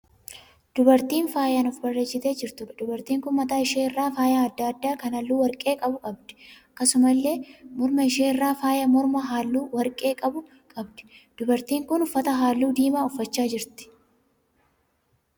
Dubartii faayaan of bareechitee jirtuudha. Dubartiin kun mataa ishee irraa faaya adda addaa kan halluu warqee qabu qabdi. Akkasumallee morma ishee irraa faaya mormaa hallu warqee qabu qabdi. Dubartiin kun uffata halluu diimaa uffachaa jirti.